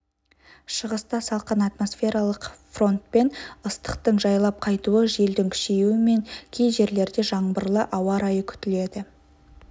шығыста салқын атмосфералық фронтпен ыстықтың жайлап қайтуы желдің күшеюі мен кей жерлерде жаңбырлы ауа райы күтіледі